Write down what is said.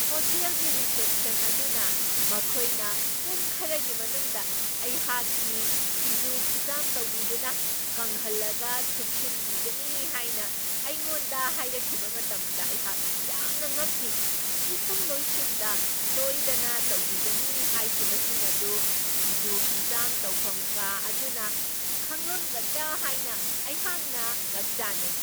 ꯍꯣꯇꯦꯜꯒꯤ ꯔꯤꯁꯦꯞꯁꯟ ꯑꯗꯨꯅ ꯃꯈꯣꯏꯅ ꯄꯨꯡ ꯈꯔꯒꯤ ꯃꯅꯨꯡꯗ ꯑꯩꯍꯥꯛꯀꯤ ꯐꯤꯖꯨ ꯐꯤꯖꯥꯝ ꯇꯧꯕꯤꯗꯨꯅ ꯀꯪꯍꯜꯂꯒ ꯊꯨꯞꯆꯤꯟꯕꯤꯒꯅꯤ ꯍꯥꯏꯅ ꯑꯩꯉꯣꯟꯗ ꯍꯥꯏꯔꯛꯈꯤꯕ ꯃꯇꯝꯗ ꯑꯩꯍꯥꯛ ꯌꯥꯝꯅ ꯉꯛꯈꯤ꯫ ꯃꯤꯊꯨꯡꯂꯣꯏꯁꯤꯡꯗ ꯁꯣꯏꯗꯅ ꯇꯧꯕꯤꯒꯅꯤ ꯍꯥꯏꯈꯤꯕꯁꯤꯡ ꯑꯗꯨ ꯐꯤꯖꯨ ꯐꯤꯖꯥꯝ ꯇꯧꯐꯝ ꯀꯥ ꯑꯗꯨꯅ ꯈꯪꯂꯝꯒꯗ꯭ꯔꯥ ꯍꯥꯏꯅ ꯑꯩꯍꯥꯛꯅ ꯉꯛꯆꯥꯅꯩ꯫